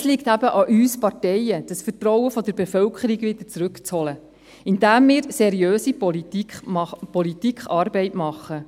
Es liegt aber an uns Parteien, dieses Vertrauen der Bevölkerung wieder zurückzuholen, indem wir seriöse politische Arbeit machen.